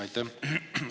Aitäh!